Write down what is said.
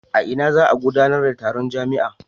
A ina za a gudanar da taron jami'a?